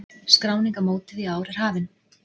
Skráning á mótið í ár er hafin.